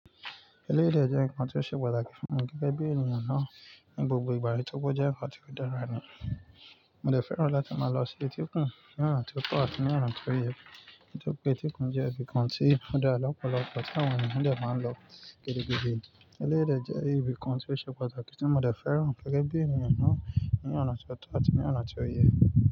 Eléyi dé jẹ́ nǹkan tó ṣe pàtàkì fún mi gẹ́gẹ́ bí ènìyàn náà ní gbogbo ìgbà, nitori oje ń kò dára ní. Mo dè fẹ́ràn láti máa lọ sí etíkun ní ọ̀nà ti ó tọ̀ àti ní ọ̀nà ti ó yẹ. Nitori pé etíkun jẹ́ ibì kan tí ó dára lọ́pọ̀lọpọ̀ tí àwọn ènìyàn dè máa ń lọ gidigidi. Eléèyi de jẹ́ ibìkan ti ó ṣe pàtàkì tí mo dè fẹ́ràn gẹ́gẹ́ bí ènìyàn náà ní ọ̀nà ti ó tọ̀ àti ní ọ̀nà ti ó yẹ.